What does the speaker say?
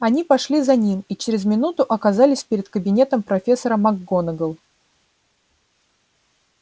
они пошли за ним и через минуту оказались перед кабинетом профессора макгонагалл